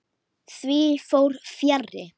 Því fór fjarri.